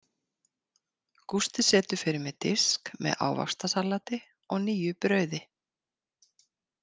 Gústi setur fyrir mig disk með ávaxtasalati og nýju brauði.